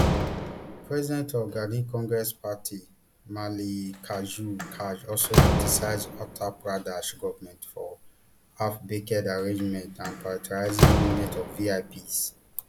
president of gandhi congress party mallikarjun kharge also criticise uttar pradesh goment for halfbaked arrangements and prioritising movement of vips